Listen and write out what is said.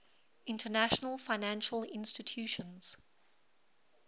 international financial institutions